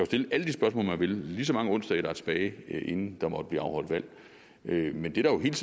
stille alle de spørgsmål man vil lige så mange onsdage der er tilbage inden der måtte blive afholdt valg men det der hele